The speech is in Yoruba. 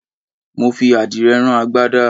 Mo fi àdìrẹ rán agbádá.